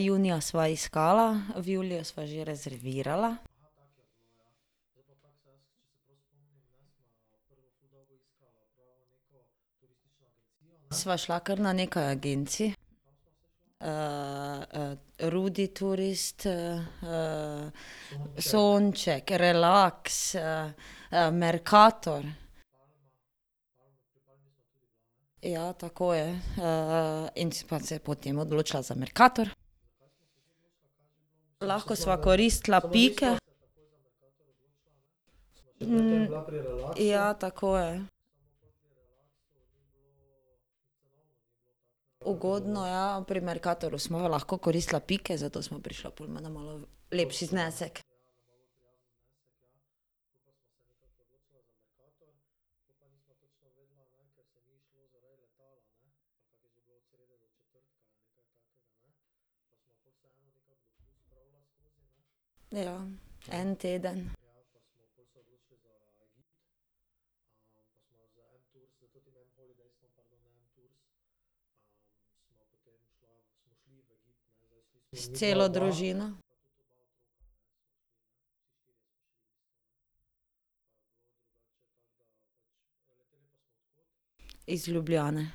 junija sva iskala, v juliju sva že rezervirala. Sva šla kar na nekaj agencij. Ruditurist, Sonček, Relax, Mercator. Ja, tako je. in sva se potem odločila za Mercator. Lahko sva koristila pike. ja, tako je. Ugodno, ja, pri Mercatorju sva imela lahko koristila pike, zato sva prišla pol malo lepši znesek. Ja. En teden. S celo družino. Iz Ljubljane.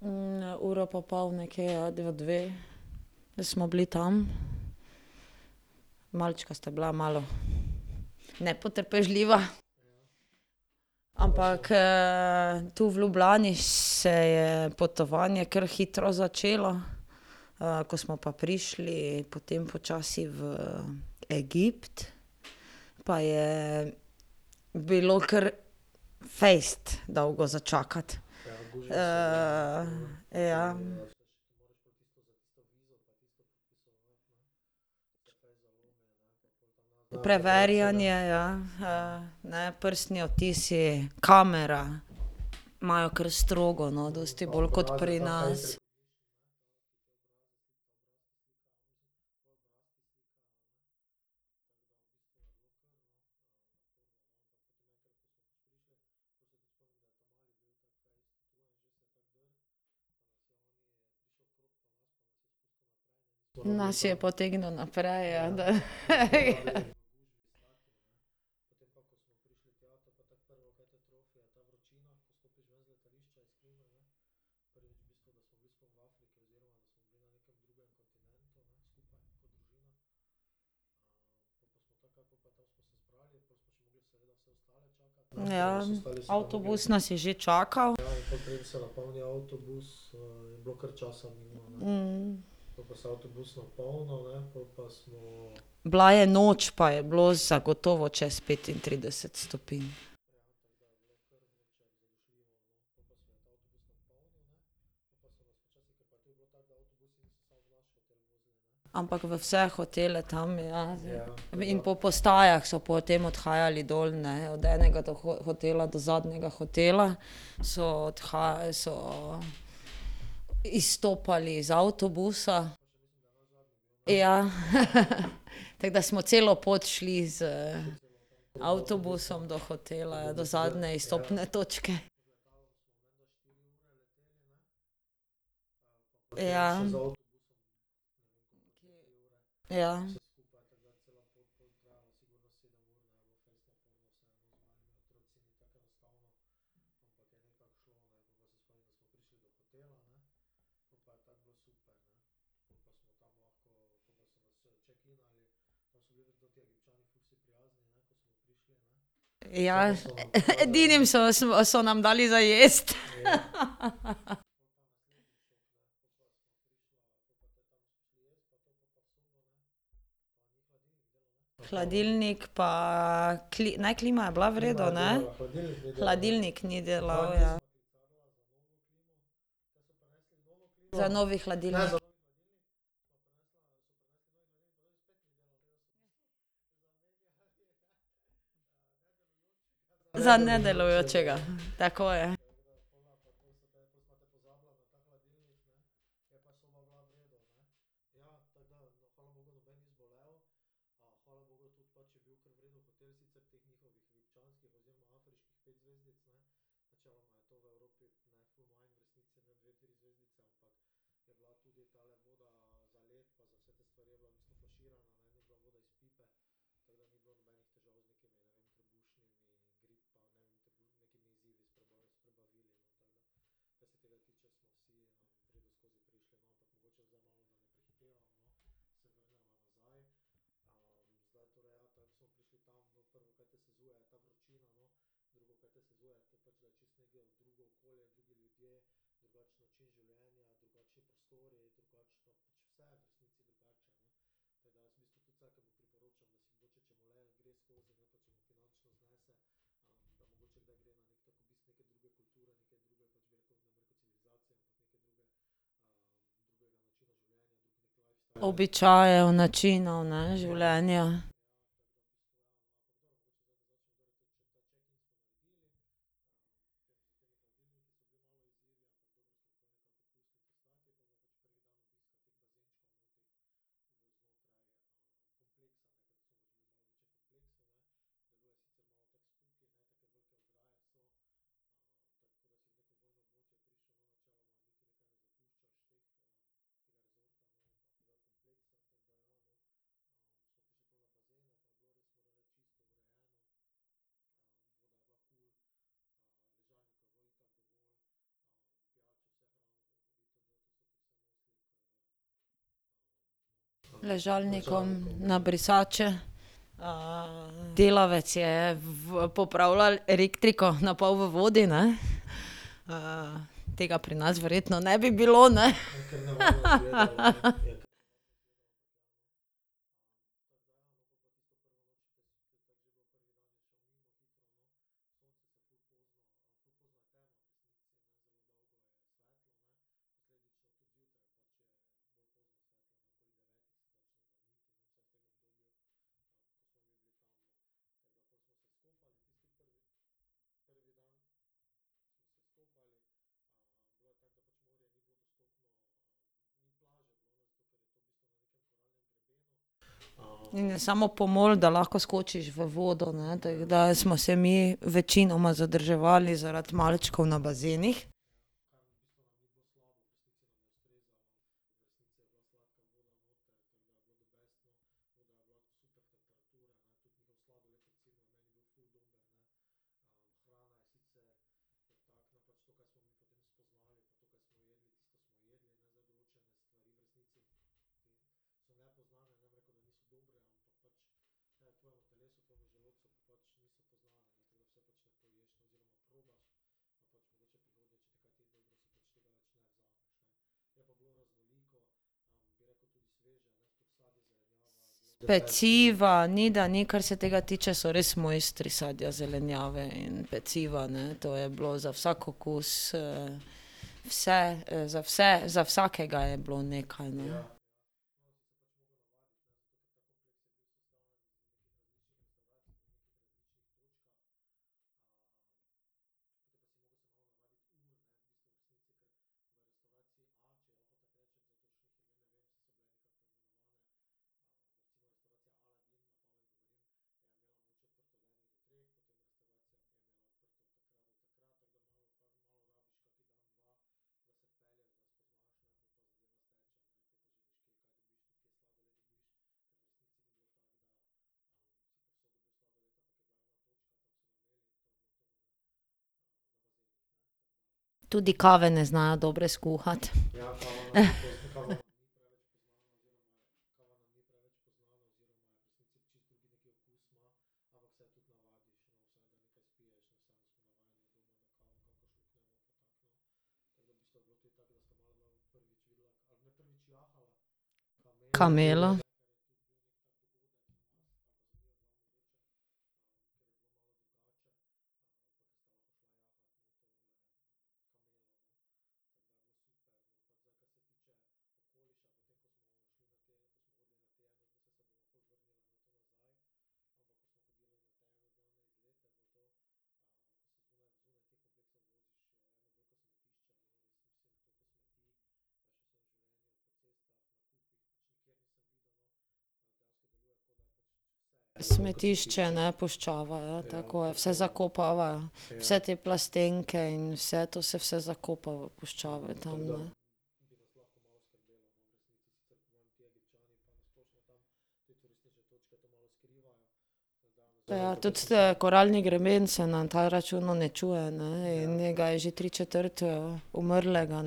Ja. uro pa pol nekje, ja, do dve. Da smo bili tam. Malčka sta bila malo nepotrpežljiva. Ampak, tu v Ljubljani se je potovanje kar hitro začelo. ko smo pa prišli potem počasi v Egipt, pa je bilo kar fejst dolgo za čakati. ja. Preverjanje, ja, ne, prstni odtisi, kamera. Imajo kar strogo, no, dosti bolj kot pri nas. Nas je potegnil naprej, ja, da . ja, avtobus nas je že čakal. Bila je noč pa je bilo zagotovo čez petintrideset stopinj. Ampak v vse hotele tam, ja. In po postajah so potem odhajali dol, ne, od enega do hotela do zadnjega hotela, so so izstopali z avtobusa. Ja , tako da smo celo pot šli z avtobusom do hotela, do zadnje izstopne točke. Ja. Ja. Ja edinim so smo so nam dali za jesti. Hladilnik pa ne, klima je bila v redu, ne? Hladilnik ni delal, ja. Za novi hladilnik. Za nedelujočega, tako je. Običajev, načinov, ne, življenja. Ležalnikom, na brisače. delavec je v popravljal elektriko, na pol v vodi, ne. tega pri nas verjetno ne bi bilo, ne? In je samo pomol, da lahko skočiš v vodo, ne, tako da smo se mi večinoma zadrževali zaradi malčkov na bazenih. Peciva, ni da ni, kar se tega tiče, so res mojstri sadja, zelenjave in peciva, ne, to je bilo za vsak okus, Vse, za vse za vsakega je bilo nekaj, ne. Tudi kave ne znajo dobre skuhati. Kamelo. Smetišče ne, puščava ja, tako je, vse zakopavajo. Vse te plastenke in vse, to se vse zakopava v puščave tam, ne. Ja, tudi, koralni greben se na ta račun uničuje, ne, in njega je že tri četrt, umrlega,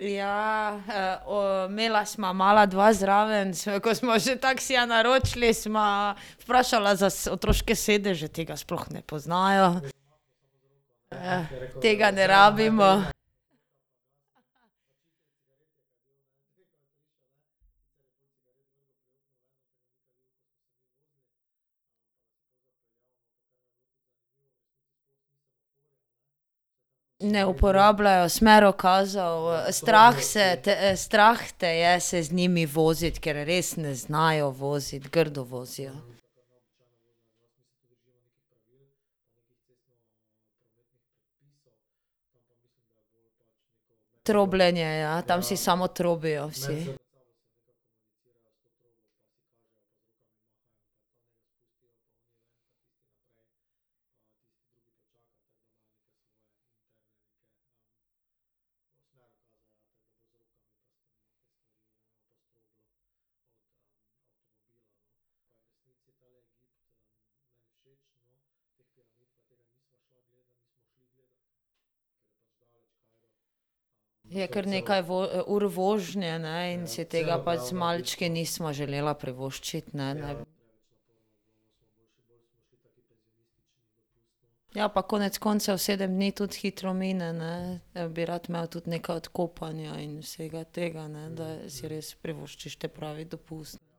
ne. Ja, imela sva mala dva zraven ko smo si taksija naročili, sva vprašala za otroške sedeže, tega sploh ne poznajo. tega ne rabimo. Ne uporabljajo smerokazov, strah se te, strah te je se z njimi voziti, ker res ne znajo voziti, grdo vozijo. Trobljenje, ja, tam si samo trobijo vsi. Je kar nekaj ur vožnje, ne, in si tega pač z malčki nisva želela privoščiti, ne. Ja, pa konec koncev, sedem dni tudi hitro mine, ne, bi rad imel tudi nekaj od kopanja in vsega tega, ne, da si res privoščiš te pravi dopust. Pa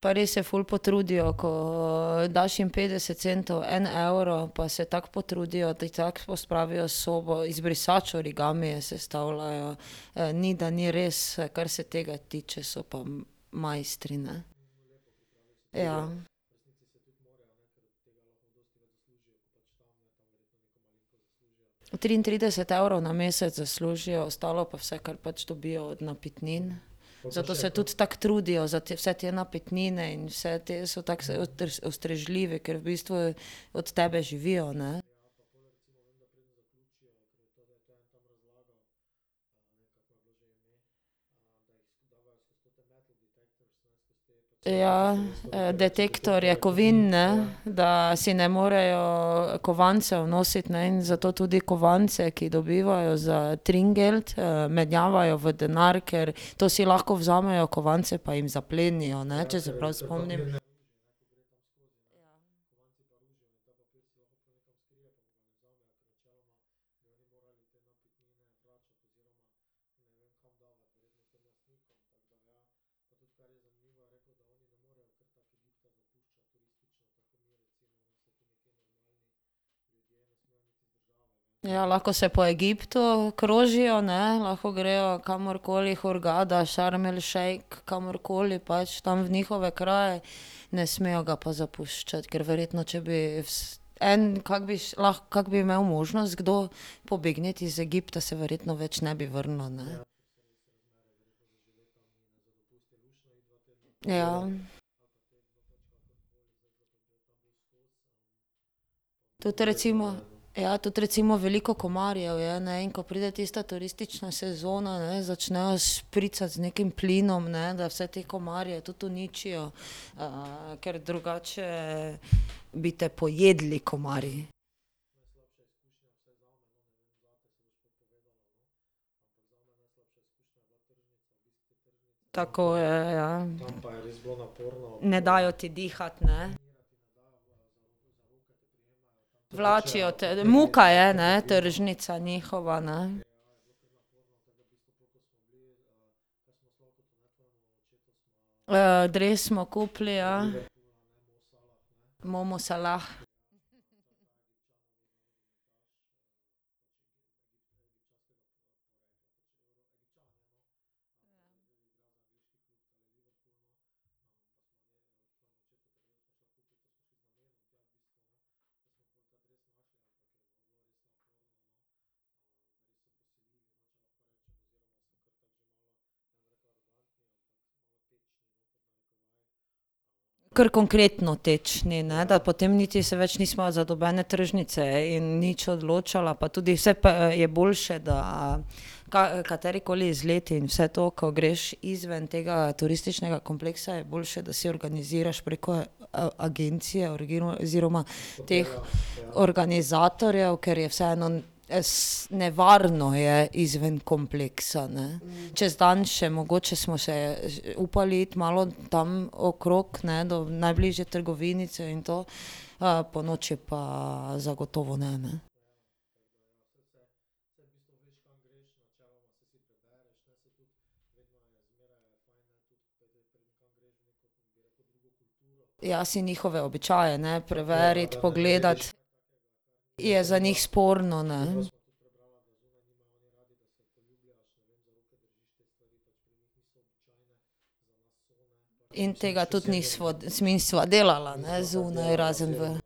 res se ful potrudijo, ko, daš jim petdeset centov, en evro, pa se tako potrudijo, ti tako pospravijo sobo, iz brisač origamije sestavljajo. ni da ni, res, kar se tega tiče so pa mojstri, ne. Ja. Od triintrideset evrov na mesec zaslužijo, ostalo pa vse, kar pač dobijo od napitnin. Zato se tudi tako trudijo za te vse te napitnine in vse te so tako ustrežljivi, ker v bistvu od tebe živijo, ne. ja, detektorje kovin, ne, da si ne morejo kovancev nositi, ne in zato tudi kovance, ki dobivajo za tringelt, menjavajo v denar, ker to si lahko vzamejo, kovance pa jim zaplenijo, ne, če se prav spomnim. Ja, lahko se po Egiptu, krožijo, ne, lahko grejo kamorkoli, Hurgada, Šarm el Šejk, kamorkoli pač tam v njihove kraje, ne smejo ga pa zapuščati, ker verjetno, če bi en, kako bi kako bi imeli možnost, kdo pobegniti iz Egipta, se verjetno več ne bi vrnil, ne. Ja. Tudi recimo ... Ja, tudi recimo veliko komarjev je, ne, in ko pride tista turistična sezona, ne, začnejo špricati z nekim plinom, ne, da vse te komarje tudi uničijo, ker drugače bi te pojedli komarji. Tako je, ja. Ne dajo ti dihati, ne. Vlačijo te, muka je, ne, tržnica njihova, ne. dres smo kupili, ja. Momo Salah. Kar konkretno tečni, ne, da potem niti se več nisva za nobene tržnice in nič odločala pa tudi vse je boljše, da katerikoli izlet in vse to, ko greš izven tega, turističnega kompleksa, je boljše, da si organiziraš preko, agencije oziroma teh organizatorjev, ker je vseeno nevarno je izven kompleksa, ne. Čez dan še mogoče smo še, upali iti malo tam okrog, ne, do najbližje trgovinice in to, ponoči pa zagotovo ne, ne. Ja, si njihove običaje, ne, preverit, pogledat. Je za njih sporno, ne. In tega tudi nisva smisna delala, ne, zunaj, ne, razen v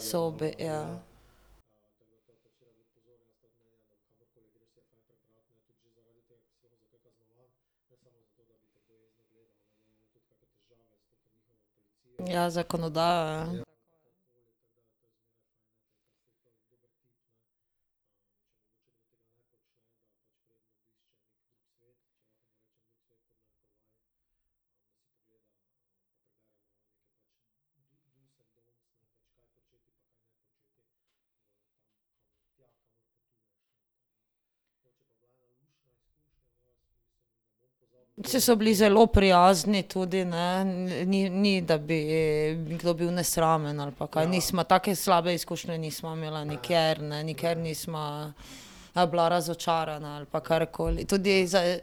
sobi, ja. Ja, zakonodajo, ja. Saj so bili zelo prijazni tudi, ne, ni, ni da bi kdo bil nesramen, ali pa kaj, nisva take slabe izkušnje nisva imela nikjer, ne nikjer nisva, bila razočarana ali pa karkoli. Tudi za,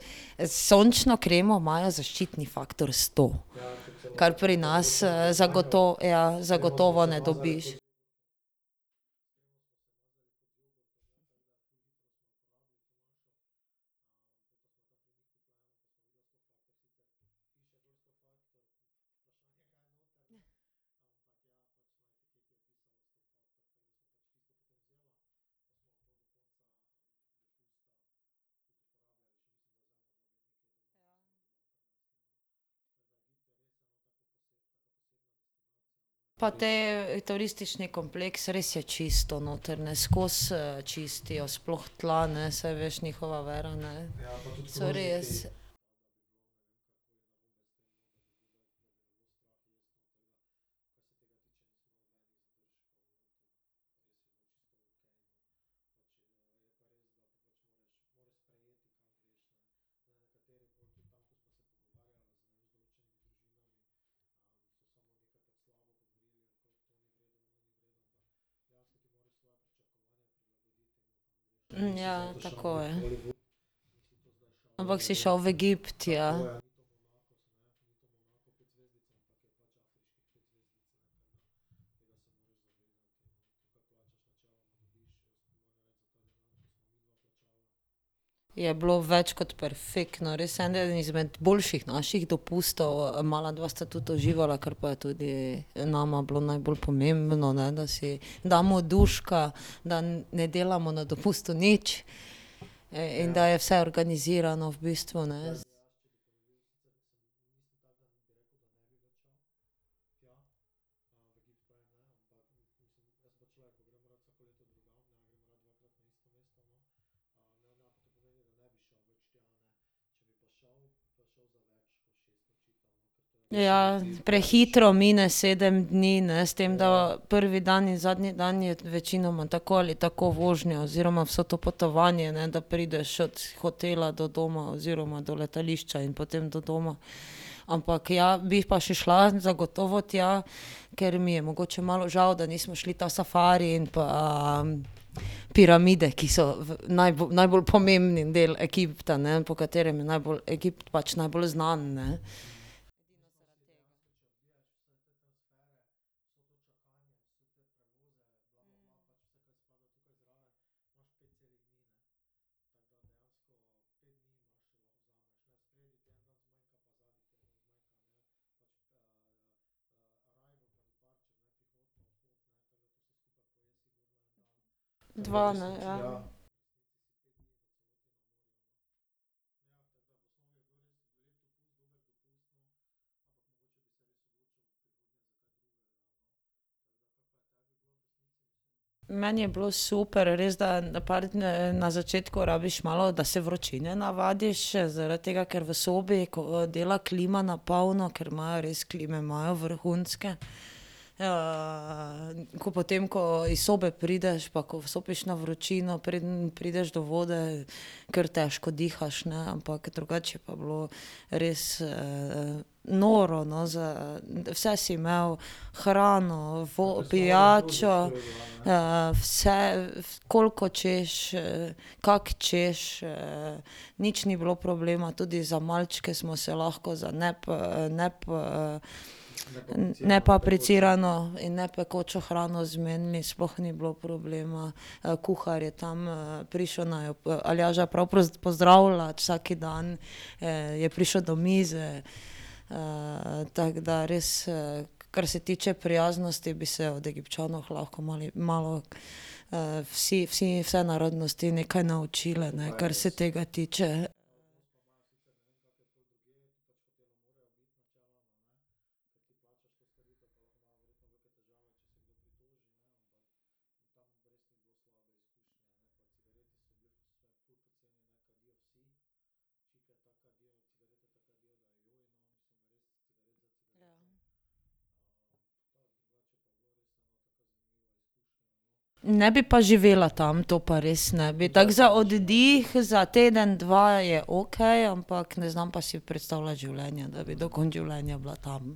sončno kremo imajo zaščitni faktor sto, kar pri nas, ja, zagotovo ne dobiš. Pa te, turistični kompleks, res je čisto noter, ne, skozi, čistijo, sploh tla, ne, saj veš njihova vera, ne, so res. ja, tako, ja. Ampak si šel v Egipt, ja. Je bilo več kot perfektno, res eden izmed boljših naših dopustov, mala dva sta tudi uživala, kar pa je tudi, nama bilo najbolj pomembno, ne, da si damo duška, da ne delamo na dopustu nič. in da je vse organizirano v bistvu, ne. Ja, prehitro mine sedem dni, ne, s tem da prvi dan in zadnji dan je večinoma tako ali tako vožnja oziroma vse to potovanje, ne, da prideš od hotela do doma oziroma do letališča in potem do doma. Ampak, ja, bi pa še šla zagotovo tja, ker mi je mogoče malo žal, da nismo šli ta safari in pa piramide, ki so najbolj pomembni del Egipta, ne, po katerem je najbolj Egipt pač najbolj znan, ne. Dva, ne, ja. Meni je bilo super, res, da par na začetku rabiš malo, da se vročine navadiš, zaradi tega, ker v sobi, ko dela klima na polno, ker imajo res klime imajo vrhunske, ko potem, ko iz sobe prideš pa ko vstopiš na vročino, preden prideš do vode, ker težko dihaš, ne, ampak drugače je pa bilo res, noro, no, za, vse si imel, hrano, pijačo, vse, koliko hočeš, kak hočeš, Nič ni bilo problema, tudi za malčke smo se lahko za za nepapricirano in nepekočo hrano zmenili, sploh ni bilo problema. kuhar je tam, prišel naju, Aljaža prav pozdravljat vsak dan, je prišel do mize, tako da res, kar se tiče prijaznosti, bi se od Egipčanov lahko mali malo, vsi vsi vse narodnosti nekaj naučile, ne, kar se tega tiče. Ne bi pa živela tam, to pa res ne bi, tako za oddih, za teden, dva, je okej, ampak ne znam pa si predstavljati življenja, da bi do konca življenja bila tam.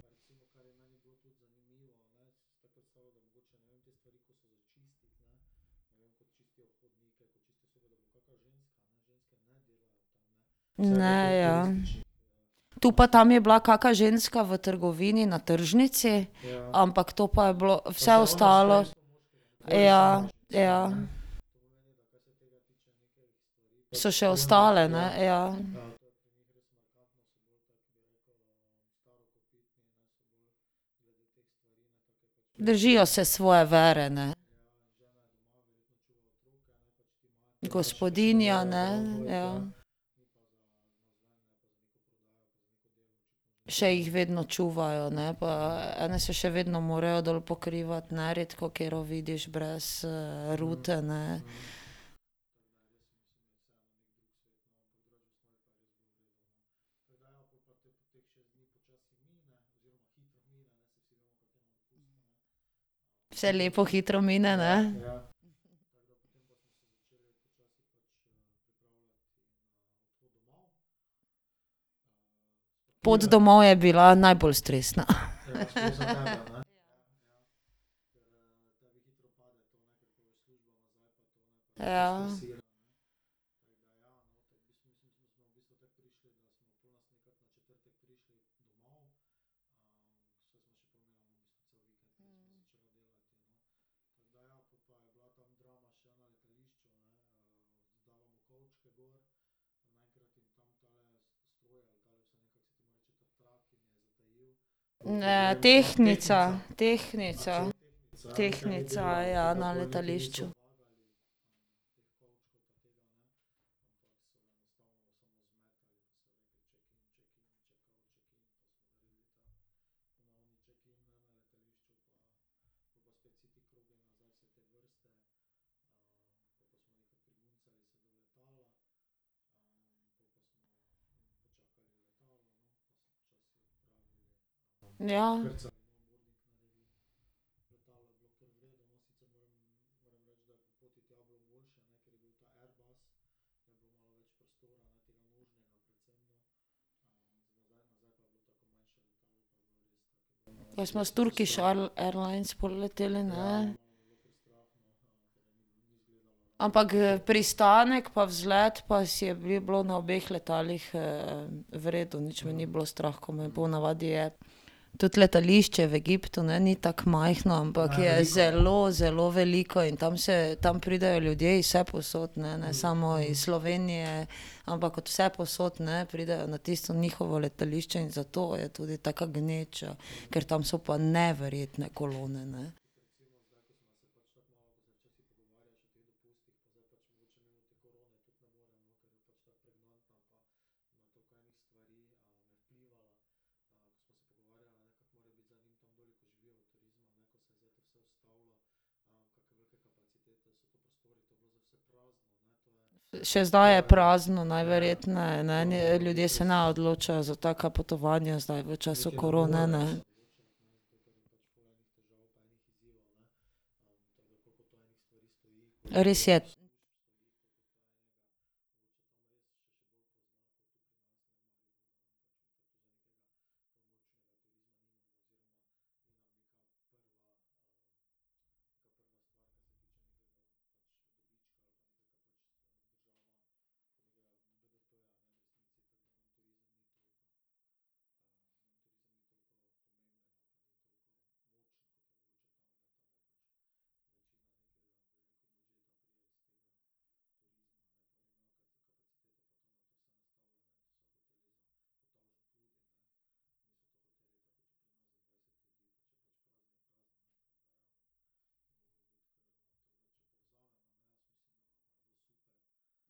Ne, ja. Tu pa tam je bila kaka ženska v trgovini na tržnici, ampak to pa je bilo, vse ostalo ... Ja. Ja. So še ostale, ne, ja. Držijo se svoje vere, ne. Gospodinja, ne, ja. Še jih vedno čuvajo, ne, pa ene se še vedno morajo dol pokrivati, ne, redkokatero vidiš brez, rute, ne. Vse lepo hitro mine, ne? Pot domov je bila najbolj stresna . Ja. Ne, tehnica, tehnica. Tehnica, ja, na letališču. Ja. Pa smo s Turkish Airlines pol leteli, ne? Ampak g pristanek pa vzlet pa je bil na obeh letalih, v redu, nič me ni bilo strah, ko me je po navadi je. Tudi letališče v Egiptu, ne, ni tako majhno, ampak je zelo, zelo veliko in tam se, tam pridejo ljudje iz vsepovsod, ne. Ne samo iz Slovenije, ampak od vsepovsod, ne, pridejo, ne, na tisto njihovo letališče in zato je tudi taka gneča. Ker tam so pa neverjetne kolone, ne. še zdaj je prazno najverjetneje, ne, eni ljudje se ne odločajo za taka potovanja zdaj v času korone, ne. Res je.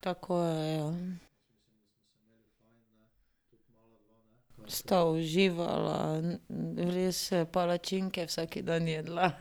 Tako je, ja. Sta uživala, res palačinke vsak dan jedla .